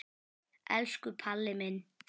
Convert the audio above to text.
Elsku Palli minn.